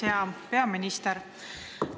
Hea peaminister!